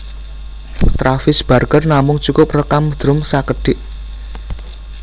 Travis Barker namung cukup rékam drum sékedhik